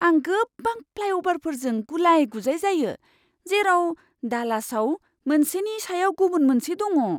आं गोबां फ्लाइअ'भारफोरजों गुलाय गुजाय जायो, जेराव डालासआव मोनसेनि सायाव गुबुन मोनसे दङ!